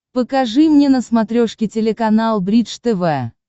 покажи мне на смотрешке телеканал бридж тв